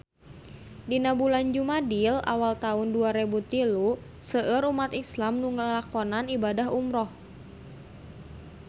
Dina bulan Jumadil awal taun dua rebu tilu seueur umat islam nu ngalakonan ibadah umrah